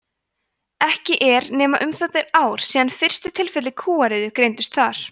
ekki er nema um það bil ár síðan fyrstu tilfelli kúariðu greindust þar